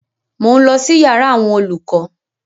Mò ń lọ sí yàrá àwọn olùkọ́